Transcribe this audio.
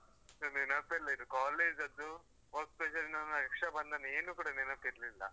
ನಂಗೆ ನೆನಪೇ ಇಲ್ಲ ಇದು college ದು work pressure ರಕ್ಷಾಬಂಧನ ಏನು ಕೂಡ ನೆನಪಿರ್ಲಿಲ್ಲ. ಹೋ .